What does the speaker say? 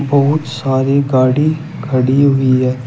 बहुत सारी गाड़ी खड़ी हुई है।